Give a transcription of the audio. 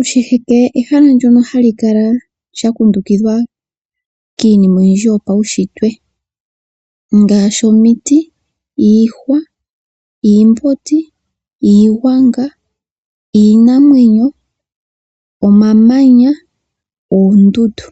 Oshiheke ehala ndyoka hali kala lya kundukidhwa kiinima oyindji yopaushitwe ngashi omiti, iihwa, iimbondi, iihwanga, iinamwenyo, omamanya noondundu.